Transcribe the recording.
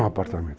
No apartamento.